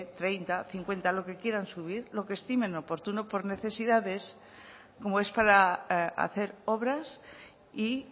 treinta cincuenta lo que quieran subir lo que estimen oportuno por necesidades como es para hacer obras y